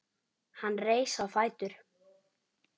Hann reis á fætur.